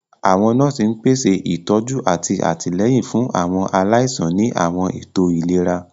Àwọn nọ́ọ̀sì ń pèsè ìtọ́jú àti àtìlẹ́yìn fún àwọn aláìsàn ní àwọn ètò ìlera.